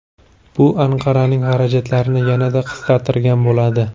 Bu Anqaraning xarajatlarini yanada qisqartirgan bo‘ladi.